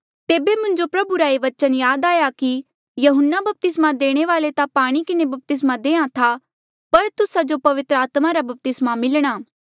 तेबे मुंजो प्रभु रा से बचन याद आया कि यहून्ना बपतिस्मा देणे वाल्आ ता पाणी किन्हें बपतिस्मा देहां था पर तुस्सा जो पवित्र आत्मा रा बपतिस्मा मिलणा